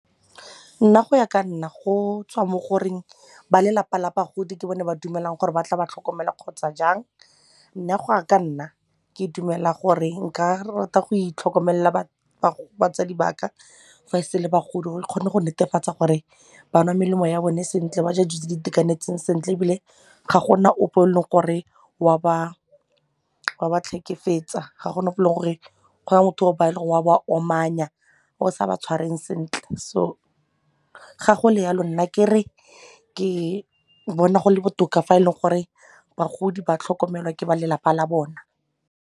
Nna go ya ka nna go tswa mo goreng ba lelapa la bagodi ke bone ba dumelang gore ba tla ba tlhokomela kgotsa jang, nna go ya ka nna ke dumela gore nka rata go itlhokomelela batsadi ba ka fa e se e le bagodi gore re kgone go netefatsa gore ba nwa melemo ya bone sentle, ba ja dijo tse di itekanetseng sentle ebile ga gona ope yo e leng gore wa ba tlhekefetsa, ga go na go eleng motho wa ba omanya o sa ba tshwareng sentle, so ga go le yalo nna kere ke bona go le botoka fa e le gore bagodi ba tlhokomelwa ke ba lelapa la bona.